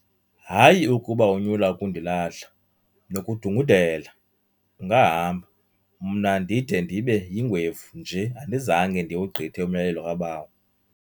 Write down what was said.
"Hayi ukuba unyula ukundilahla, nokudungudela ungahamba, mna ndide ndibe yingwevu nje andizange ndiwugqithe umyalelo kabawo."